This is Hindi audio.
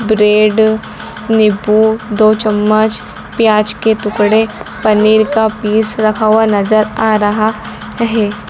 ब्रेड नींबू दो चम्मच प्याज के टुकड़े पनीर का पीस रखा हुआ नजर आ रहा है।